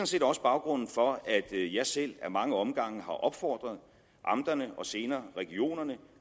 set også baggrunden for at jeg selv ad mange omgange har opfordret amterne og senere regionerne